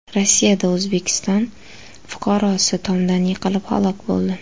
Rossiyada O‘zbekiston fuqarosi tomdan yiqilib halok bo‘ldi.